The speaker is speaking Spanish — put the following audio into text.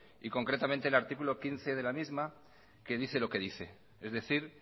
y concretamente el artículo quince de la misma que dice lo que dice es decir